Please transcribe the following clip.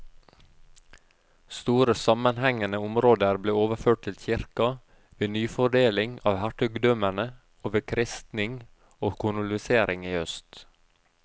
Store sammenhengende områder ble overført til kirka ved nyfordeling av hertugdømmene og ved kristning og kolonisering i øst.